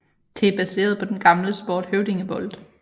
Det er baseret på den gamle sport høvdingebold